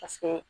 Paseke